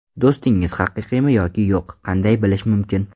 Do‘stingiz haqiqiymi yoki yo‘q qanday bilish mumkin?